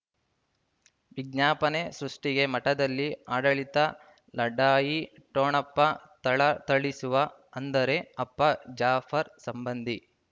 ವಿಜ್ಞಾಪನೆ ಸೃಷ್ಟಿಗೆ ಮಠದಲ್ಲಿ ಆಡಳಿತ ಲಢಾಯಿ ಠೊಣಪ ಥಳಥಳಿಸುವ ಅಂದರೆ ಅಪ್ಪ ಜಾಫರ್ ಸಂಬಂಧಿ